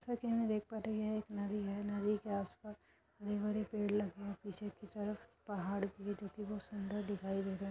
जैसा की हम देख पा रहे हैं। एक नदी है नदी के आस पास हरे भरे पेड़ लगे पीछे की तरफ पहाड़ भी सुंदर दिखाई दे रहे हैं।